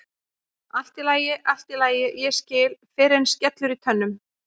Allt í lagi, allt í lagi, ég skil fyrr en skellur í tönnum.